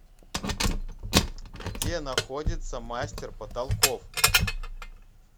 где находится мастер потолков